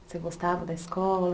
Você gostava da escola?